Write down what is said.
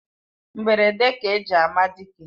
Mgberede ka eji ama dike